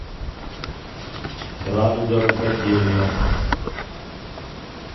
радуга рукоделия